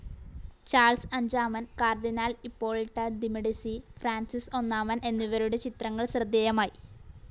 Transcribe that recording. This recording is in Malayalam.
ചാൾസ് അഞ്ചാമൻ, കാർഡിനാൻ ഇപ്പോളിട്ട ദിമെഡിസി, ഫ്രാൻസിസ് ഒന്നാമൻ എന്നിവരുടെ ചിത്രങ്ങൾ ശ്രദ്ധേയമായി.